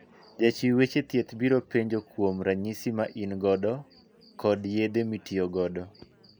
Jachiw weche thieth biro penjo kuom ranyisi ma in godo kod yedhe mitiyo godo.